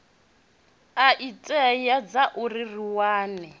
a itea zwauri ri wane